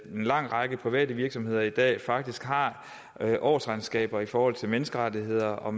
en lang række private virksomheder i dag faktisk har årsregnskaber i forhold til menneskerettigheder og